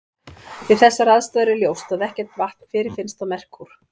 Við þessar aðstæður er ljóst að ekkert vatn fyrirfinnst á Merkúr.